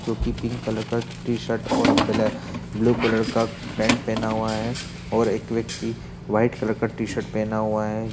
जो कि pink colour का टी-शर्ट और ब्लैक ब्लू कलर का पैंट पहेना हुआ हैं और एक व्यक्ति व्हाइट कलर का टी-शर्ट पहना हुआ है।